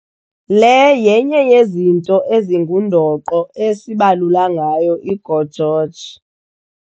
Le yenye yezinto ezingundoqo ezibalula ngayo i-GO GEORGE.